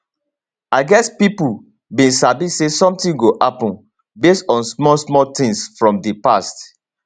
i guess pipo bin sabi say sometin go happun base on small small tins from di past